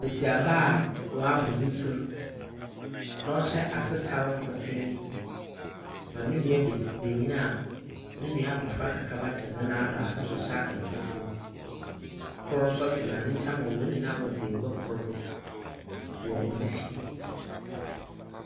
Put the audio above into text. Besiaba a wabɔ ne tsir na ɔhyɛ asetare nkotee ma ne nua bes benyina a ne nua abɔfra kakraba te ne nan do a ɔno nso hyɛ ataar fufuo. Kor nso tena ne nkyɛn ma wɔn nyinaa wɔte agua kor do wɔ hɔn fie.